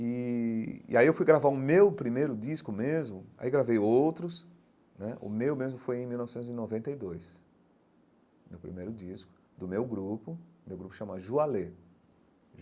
E e aí eu fui gravar o meu primeiro disco mesmo, aí gravei outros né, o meu mesmo foi em mil novecentos e noventa e dois, meu primeiro disco, do meu grupo, meu grupo chama Joalê.